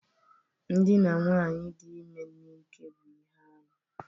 Ndina nwaanyị dị ime n'ike bụ ihe arụ